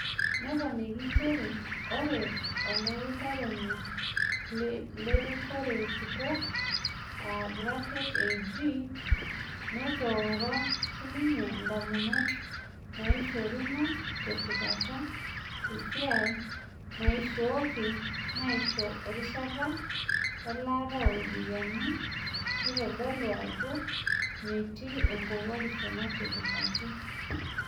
Neponiki njere ore olautaroni le rikore kitok (AG) netooro sininye endamunoto naishoruno te sipata esiai naishoyoki naisho erishata elaata o ropiyiani netodolu ajoo metiii enkowuarisho natipikaki.